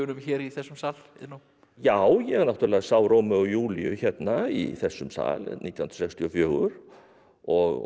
hér í þessum sal Iðnó já ég náttúrulega sá Rómeó og Júlíu hérna í þessum sal nítján hundruð sextíu og fjögur og